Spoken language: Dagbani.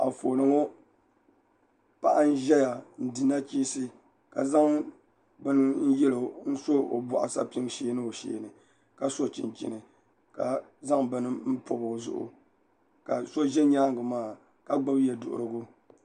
Anfooni ŋo Paɣa n ʒɛya n di nachiinsi ka zaŋ bini n so o boɣu sapim mini o shee ni ka so chinchini ka zaŋ bini n pobi o zuɣu ka so ʒɛ nyaangi maa ka gbubi yɛ duɣurigu